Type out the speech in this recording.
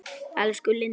Elsku Lindi.